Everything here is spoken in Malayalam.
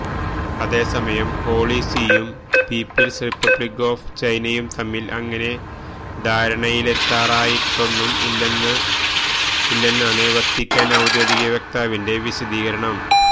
അതേസമയം ഹോളി സീയും പീപ്പിള്സ് റിപ്പബ്ലിക് ഓഫ് ചൈനയും തമ്മില് അങ്ങനെ ധാരണയിലെത്താറായിട്ടൊന്നും ഇല്ലെന്നാണ് വത്തികാന് ഔദ്യോഗിക വക്താവിന്റെ വിശദീകരണം